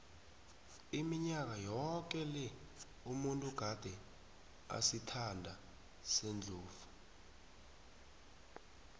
iminyaka yoke le umuntu gade asisitha sendlovu